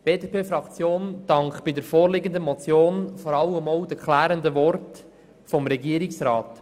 Die BDP-Fraktion dankt bei der vorliegenden Motion vor allem auch für die klärenden Worten des Regierungsrats.